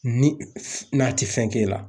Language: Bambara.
Ni , n'a te fɛn k'e la.